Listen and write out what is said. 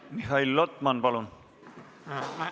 Mihhail Lotman, palun!